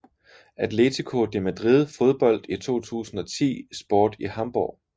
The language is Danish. Atletico de Madrid Fodbold i 2010 Sport i Hamborg